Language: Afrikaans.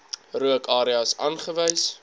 rook areas aangewys